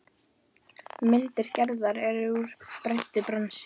Myndir Gerðar eru úr bræddu bronsi.